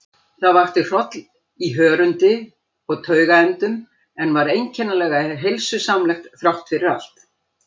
Það vakti hroll í hörundi og taugaendum, en var einkennilega heilsusamlegt þráttfyrir allt.